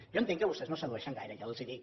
jo entenc que vostès no sedueixen gaire ja els ho dic